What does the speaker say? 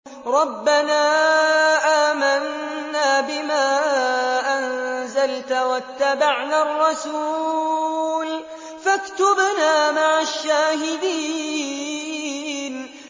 رَبَّنَا آمَنَّا بِمَا أَنزَلْتَ وَاتَّبَعْنَا الرَّسُولَ فَاكْتُبْنَا مَعَ الشَّاهِدِينَ